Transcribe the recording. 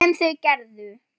Sem þau gerðu.